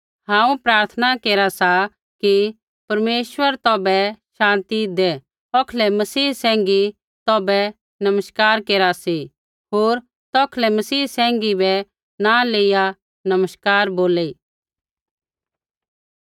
हांऊँ प्रार्थना केरा सा कि परमेश्वर तौभै शान्ति दै औखलै मसीह सैंघी तौभै नमस्कार केरा सी होर तौखलै मसीह सैंघी बै नाँ लेइया नमस्कार बोली